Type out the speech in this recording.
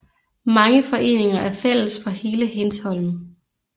Mange foreninger er fælles for hele Hindsholm